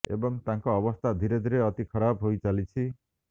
ଏବଂ ତାଙ୍କ ଅବସ୍ଥା ଧୀରେ ଧୀରେ ଅତି ଖରାପ ହୋଇଚାଲିଛି